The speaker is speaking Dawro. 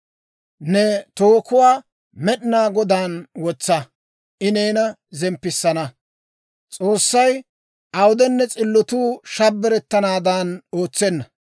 Ne tookuwaa Med'inaa Godaan wotsa; I neena zemppissana. S'oossay awudenne s'illotuu shabbarettanaadan ootsenna.